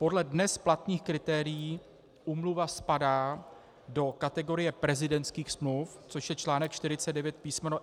Podle dnes platných kritérií úmluva spadá do kategorie prezidentských smluv, což je článek 49 písm.